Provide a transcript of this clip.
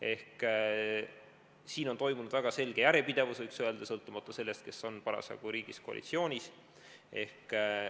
Ehk siin on olnud väga selge järjepidevus, võiks öelda, sõltumata sellest, kes parasjagu koalitsioonis on.